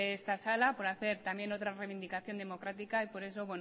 esta sala por hacer también otra reivindicación democrática y por eso